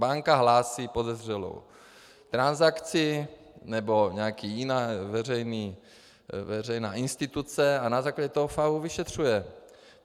Banka hlásí podezřelou transakci, nebo nějaká jiná veřejná instituce, a na základě toho FAÚ vyšetřuje.